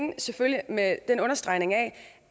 det selvfølgelig med en understregning af